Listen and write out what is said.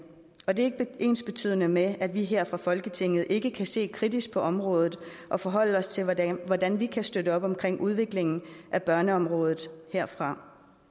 og det er ikke ensbetydende med at vi her fra folketinget ikke kan se kritisk på området og forholde os til hvordan hvordan vi kan støtte op omkring udviklingen af børneområdet herfra